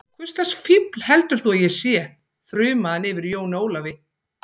Hvurslags fífl heldur þú að ég sé, þrumaði hann yfir Jóni Ólafi.